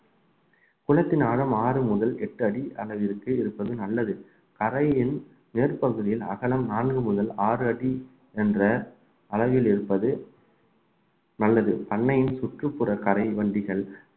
குளத்தினாலும் ஆறு முதல் எட்டு அடி அளவிற்கு இருப்பது நல்லது கரையின் மேற்பகுதியில் அகலம் நான்கு முதல் ஆறு அடி என்ற அளவில் இருப்பது நல்லது அன்னையின் சுற்றுப்புற கரைவண்டிகள்